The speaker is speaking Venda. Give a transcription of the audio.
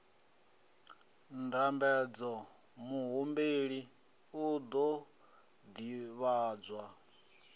ndambedzo muhumbeli u ḓo ḓivhadzwa